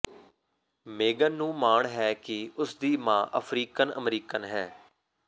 ਮੇਗਨ ਨੂੰ ਮਾਣ ਹੈ ਕਿ ਉਸਦੀ ਮਾਂ ਅਫਰੀਕਨ ਅਮਰੀਕਨ ਹੈ